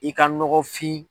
I ka nɔgɔfin